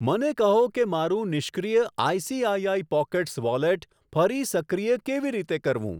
મને કહો કે મારું નિષ્ક્રિય આઈસીઆઈઆઈ પોકેટ્સ વોલેટ ફરી સક્રિય કેવી રીતે કરવું?